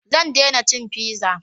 Zan dena cin fiza